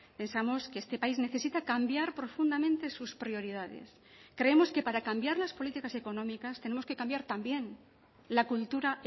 pensamos que este país necesita cambiar profundamente sus prioridades creemos que para cambiar las políticas económicas tenemos que cambiar también la cultura